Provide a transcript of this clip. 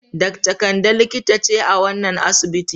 Dakta Kande likita ce a wannan asibiti.